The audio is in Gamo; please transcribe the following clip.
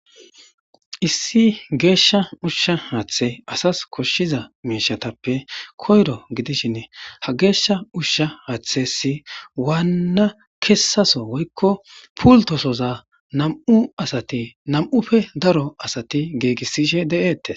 issi geeshsha ushsha haaththe asas koshshiza meeshatappe koyro gidishin ha geeshsha ushsha haaththessi waanna kessaso woykko pultosoza nam'u asati nam'ufe daro asati geegissishe de'eette